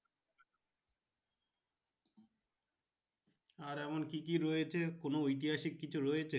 আর এমন কি কি রয়েছে কোনো ঐতিহাসিক কিছু রয়েছে।